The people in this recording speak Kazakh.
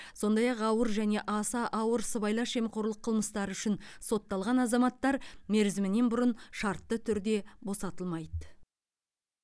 сондай ақ ауыр және аса ауыр сыбайлас жемқорлық қылмыстары үшін сотталған азаматтар мерзімінен бұрын шартты түрде босатылмайды